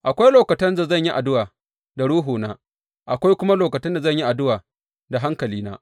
Akwai lokutan da zan yi addu’a da ruhuna; akwai kuma lokutan da zan yi addu’a da hankalina.